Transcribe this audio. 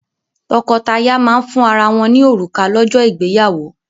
Tọ́kọtaya máa ń fún ara wọ́n ní òrùka lọ́jọ́ ìgbéyàwó.